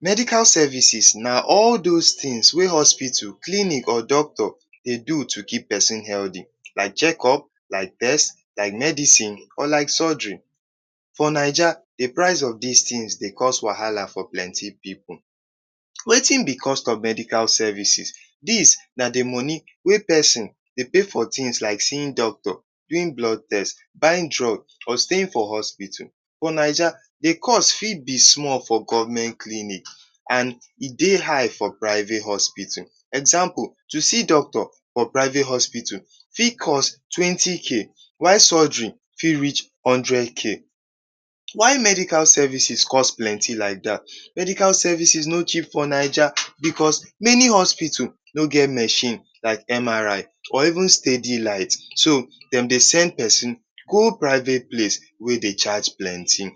Medical services na all those things wey hospitals, clinic, doctors dey do to keep pesin healthy. Like checkup, like test, like medicine or like surgery. For Naija, the price of dis things dey cause wahala for plenty pipu. Wetin be cost of medical services? Dis na the money wey pesin dey pay for things like seeing doctor, doing blood test, buying drug or staying for hospital. For Naija, the cost fit be small for government clinic and e dey high for private hospital. Example, to see doctor for private hospital fit cost twenty k, while surgery fit reach hundred k. Why medical services cost plenty like dat: • Medical services no cheap for Naija because many hospital no get machine like MRI or even steady light. So dem dey send pesin go private place wey dey charge plenty. •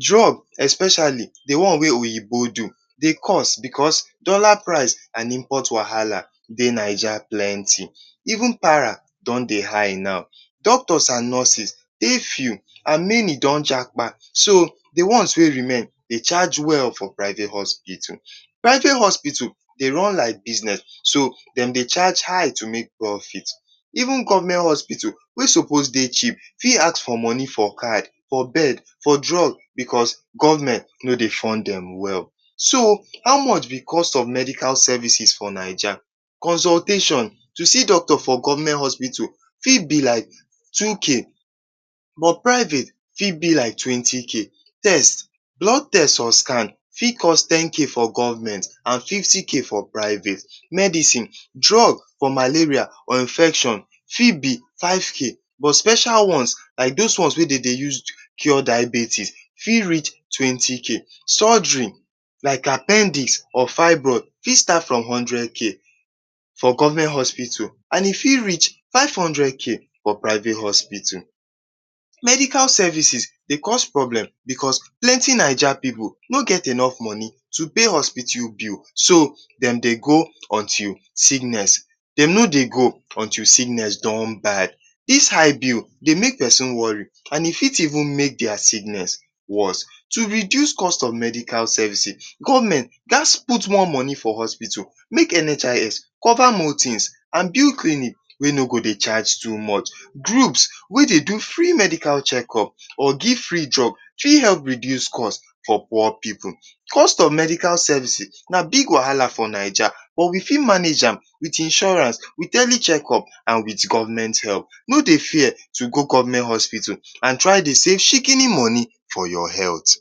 Drug, especially the one wey oyibo do, dey cost because dollar price and import wahala dey Naija plenty. Even para don dey high now. • Doctors and nurses, many don japa, so the ones wey remain dey charge well for private hospital. • Private hospital dey run like business. So dem dey charge high to make profits. • Even government hospital wey suppose dey cheap fit ask money for card, for bed, for drug because government no dey fund dem well. So how much be cost of medical services for Naija? • Consultation to see doctor for government hospital fit be like two k, but private fit be like twenty k. • Test, blood test or scan fit cost ten k for government and fifty k for private. • Medicine: drug for malaria or infection fit be five k but special ones like those wey dey use cure diabetes fit reach twenty k. • Surgery like appendix or fibroid fit start from hundred k for government hospital and e fit reach five hundred k for private hospital. Medical services dey cause problem because plenty Naija pipu no get enough money to pay hospital bill. So dem dey go until dem no dey go until sickness don bad. Dis high bill dey make pesin worry and e fit even make their sickness worse. To reduce cost of medical services: • Government gats put more money for hospital. • Make NHIS cover more things. • Build clinic wey no go dey charge too much. • Groups wey dey do free medical checkup or give free drug fit help reduce cost for poor pipu. Cost of medical services na big wahala for Naija but we fit manage am with insurance, with early checkup and with government help. No dey fear to go government hospital and dey save shikini money for your health.